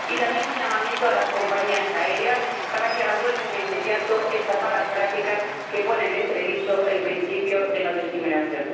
También es un llamamiento a las compañías aéreas para que abandonen de inmediato estas malas prácticas, que ponen en entredicho el principio de no discriminación.